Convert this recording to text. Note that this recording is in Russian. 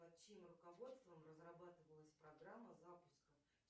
под чьим руководством разрабатывалась программа запуска